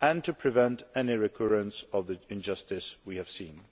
and to prevent any recurrence of the injustice we have seen.